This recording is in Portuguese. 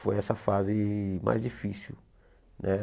Foi essa fase mais difícil né.